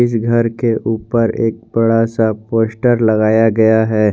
घर के ऊपर एक बड़ा सा पोस्टर लगाया गया है।